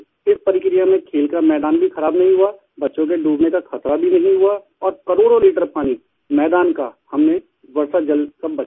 इस प्रक्रिया में खेल का मैदान भी खराब नहीं हुआ बच्चों के डूबने का खतरा भी नहीं हुआ और करोड़ों लीटर पानी मैदान का हमने वर्षा जल सब बचाया है